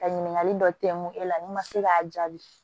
Ka ɲininkali dɔ kɛ mun e la n'i ma se k'a jaabi